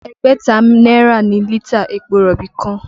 Ẹgbẹ̀ta náírà ni lítà epo rọ̀bì kan